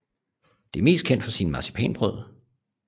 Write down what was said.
Det er mest kendt for sine marcipanbrød